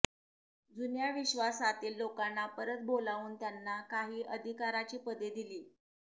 जुन्या विश्र्वासातील लोकांना परत बोलावून त्यांना काही अधिकाराची पदे दिली